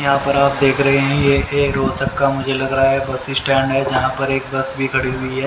यहां पर आप देख रहे हैं यह एक रोतक का मुझे लग रहा है बस स्टैंड है जहां पर एक बस भी खड़ी हुई है।